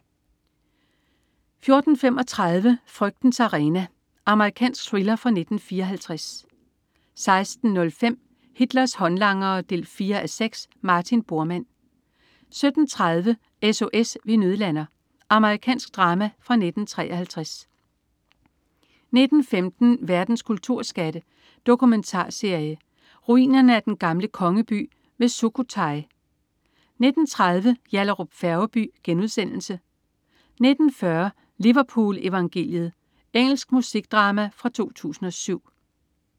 14.35 Frygtens arena. Amerikansk thriller fra 1954 16.05 Hitlers håndlangere 4:6. Martin Bormann 17.30 S.O.S. vi nødlander! Amerikansk drama fra 1953 19.15 Verdens kulturskatte. Dokumentarserie. "Ruinerne af den gamle kongeby ved Sukhothai" 19.30 Yallahrup Færgeby* 19.40 Liverpool evangeliet. Engelsk musikdrama fra 2007